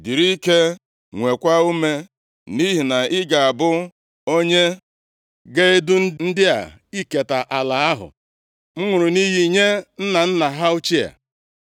Dịrị ike, nweekwa ume, nʼihi na ị ga-abụ onye ga-edu ndị a iketa ala ahụ m ṅụrụ nʼiyi inye nna nna ha ochie.